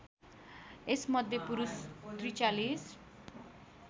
यसमध्ये पुरुष ४३